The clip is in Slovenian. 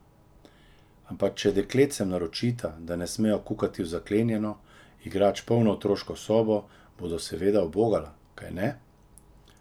Ampak če dekletcem naročita, da ne smejo kukati v zaklenjeno, igrač polno otroško sobo, bodo seveda ubogala, kajne?